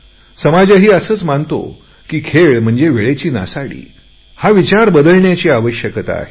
समाजही असेच मानतो की खेळ म्हणजे वेळेची नासाडी समाजाला प्रोत्साहनाची गरज आहे